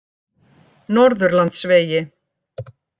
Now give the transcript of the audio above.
Norðurlandsvegi